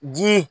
Ji